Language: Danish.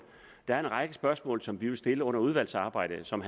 der er en række spørgsmål som vi vil stille under udvalgsarbejdet og som